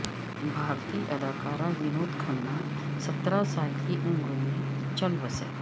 بھارتی اداکار ونود کھنہ ستر سال کی عمر میں چل بسے